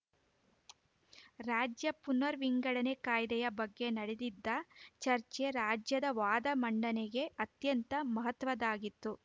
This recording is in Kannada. ರಾಜ್ಯ ಪುನರ್‌ ವಿಂಗಡಣೆ ಕಾಯ್ದೆಯ ಬಗ್ಗೆ ನಡೆದಿದ್ದ ಚರ್ಚೆ ರಾಜ್ಯದ ವಾದ ಮಂಡನೆಗೆ ಅತ್ಯಂತ ಮಹತ್ವದ್ದಾಗಿತ್ತು